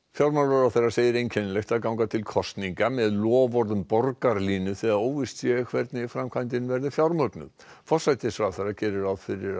fjármálaráðherra segir einkennilegt að ganga til kosninga með loforð um borgarlínu þegar óvíst sé hvernig framkvæmdin verði fjármögnuð forsætisráðherra gerir ráð fyrir